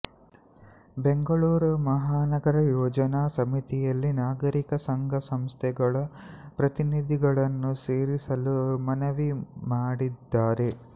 ಬೆಂಗಳೂರು ಮಹಾನಗರ ಯೋಜನಾ ಸಮಿತಿಯಲ್ಲಿ ನಾಗರಿಕ ಸಂಘ ಸಂಸ್ಥೆಗಳ ಪ್ರತಿನಿಧಿಗಳನ್ನು ಸೇರಿಸಲು ಮನವಿ ಮಾಡಿದ್ದಾರೆ